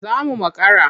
Za mu makara.